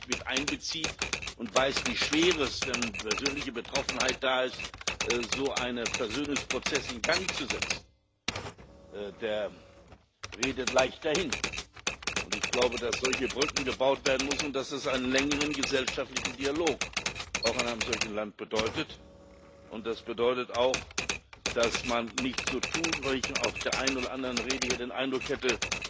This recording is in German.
Wer das nicht mit einbezieht und nicht weiß, wie schwer es ist, wenn persönliche Betroffenheit da ist, so einen Versöhnungsprozess in Gang zu setzen, der redet leicht dahin. Ich glaube, dass solche Brücken gebaut werden müssen und dass das einen längeren gesellschaftlichen Dialog auch in einem solchen Land bedeutet. Das bedeutet auch, dass man nicht so tun sollte wo ich bei der einen oder anderen Rede hier den Eindruck hatte